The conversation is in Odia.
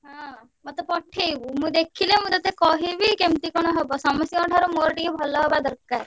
ହଁ ମତେ ପଠେଇବୁ ମୁଁ ଦେଖିଲେ ମୁଁ ତତେ କହିବି କେମିତି କଣ ହବ। ସମସ୍ତଙ୍କଠାରୁ ମୋର ଟିକେ ଭଲ ହବା ~ଦର ~କାର।